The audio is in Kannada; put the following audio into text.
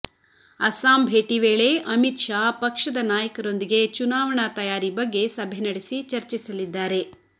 ಅಸ್ಸಾಂ ಭೇಟಿ ವೇಳೆ ಅಮಿತ್ ಶಾ ಪಕ್ಷದ ನಾಯಕರೊಂದಿಗೆ ಚುನಾವಣಾ ತಯಾರಿ ಬಗ್ಗೆ ಸಭೆ ನಡೆಸಿ ಚರ್ಚಿಸಲಿದ್ದಾರೆ